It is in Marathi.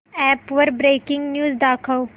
अॅप वर ब्रेकिंग न्यूज दाखव